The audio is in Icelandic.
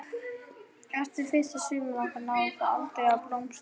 Eftir fyrsta sumarið okkar náði það aldrei að blómstra.